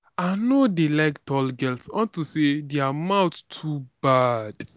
i no dey like tall girls unto say their mouth too bad